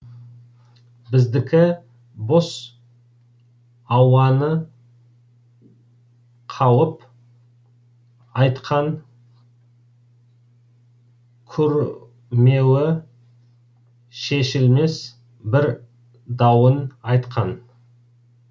біздікі бос ауаны қауып айтқан курмеуі шешілмес бір дауын айтқан